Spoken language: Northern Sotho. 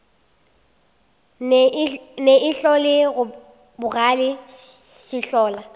ne ihlo le bogale sehlola